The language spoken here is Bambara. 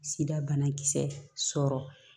Sida banakisɛ sɔrɔ